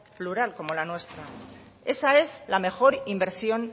plural como la nuestra esa es la mejor inversión